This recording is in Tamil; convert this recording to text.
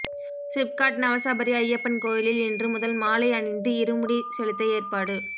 சிப்காட் நவசபரி ஐயப்பன் கோயிலில் இன்று முதல் மாலை அணிந்து இருமுடி செலுத்த ஏற்பாடு